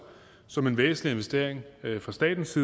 som en væsentlig investering fra statens